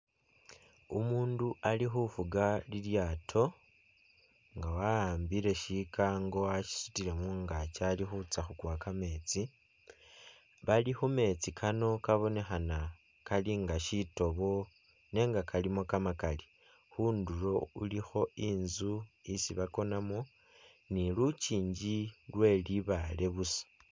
Umundu ali khufuga lilyaato nga wawambile shikango washisutile mungaki ali khutsa khukuwa kametsi bali khumetsi kano kabonekhana kali nga shitoobo nenga kalimo kamakali, khundulo khulikho i'nzu isi bakonamo ni lukingi lwe libaale busa